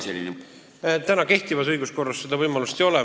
Ei ole, kehtivas õiguskorras seda võimalust ei ole.